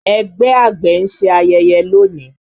Ẹgbẹ́ àgbẹ̀ ń ṣe ayẹyẹ lónìí